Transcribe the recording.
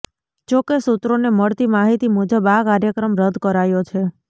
જો કે સૂત્રોને મળતી માહિતી મુજબ આ કાર્યક્રમ રદ્દ કરાયો છે